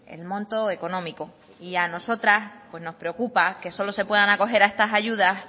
el monto económico y a nosotras pues nos preocupa que solo se puedan acoger a estas ayudas